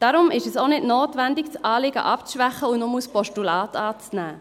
Darum ist es auch nicht notwendig, das Anliegen abzuschwächen und nur als Postulat anzunehmen.